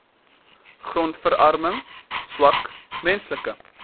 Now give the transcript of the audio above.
grondverarming swak menslike